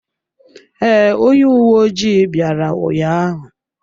Ee, onye uwe ojii bịara ụnyaahụ.